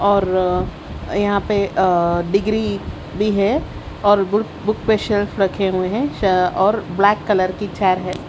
और यहाँ पे अ डिग्री भी है बुक बुक शेल्फ रखे हुए है अ और ब्लैक कलर की चेयर है।